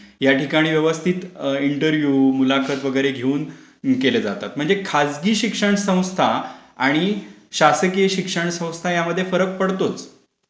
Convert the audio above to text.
या ठिकाणी व्यवस्थित इंटर् व्हयू मार्फत वगैरे घेऊन केले जातात म्हणजे खासगी शिक्षण संस्था आणि शासकीय शिक्षण संस्था यामध्ये फरक पडतोच.